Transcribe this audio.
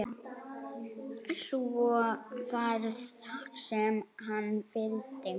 Svo varð sem hann vildi.